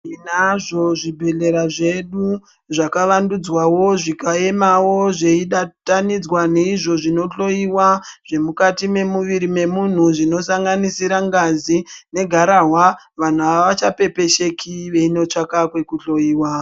Tinazvo zvibhedhlera zvedu zvakavandudzwawo zvikayemawo zveyibatanidzwa neizvo zvinohloyiwa zvemukati memuviri memunhu zvinosanganisira ngazi negarahwa, vanhu avachapepesheki veyinotsvaka kwekuhloyiwa.